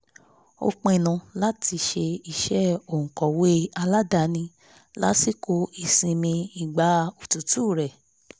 ó pinnu láti ṣe iṣẹ́ òǹkọ̀wé aládàáni lásìkò ìsinmi ìgbà òtútù rẹ̀